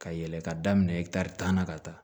Ka yɛlɛn ka daminɛ ɛ tan na ka taa